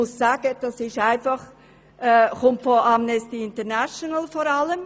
Ich muss sagen, dass dies vor allem von Amnesty International kommt.